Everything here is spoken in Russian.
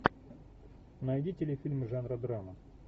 найди телефильм жанра драма